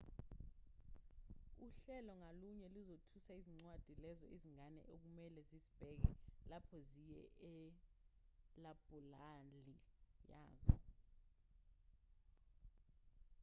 uhlelo ngalunye luzotusa izincwadi lezo izingane okumelwe zizibheke lapho ziye elabhulali yazo